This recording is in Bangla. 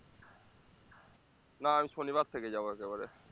না আমি শনিবার থেকে যাবো একেবারে